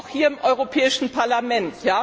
Das gilt auch für das Europäische Parlament.